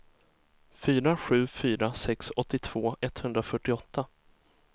fyra sju fyra sex åttiotvå etthundrafyrtioåtta